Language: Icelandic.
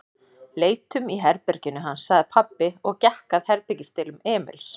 Leitum í herberginu hans, sagði pabbi og gekk að herbergisdyrum Emils.